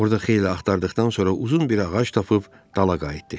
Orda xeyli axtardıqdan sonra uzun bir ağac tapıb dala qayıtdı.